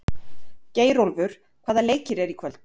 Geirólfur, hvaða leikir eru í kvöld?